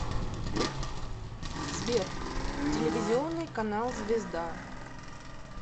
сбер телевизионный канал звезда